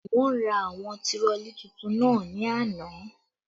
Wọ́n ra àwọn tirọlí tuntun náà ni àná